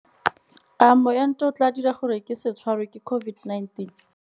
A moento o tla dira gore ke se tshwarwe ke COVID-19?